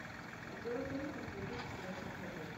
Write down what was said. обзор фильмов две тысячи двадцатого года